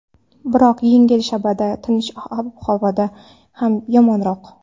Biroq yengil shabada tinch ob-havodan ham yomonroq.